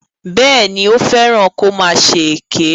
Bẹ́ẹ̀ni, ó fẹ́ràn kó máa ṣe èké.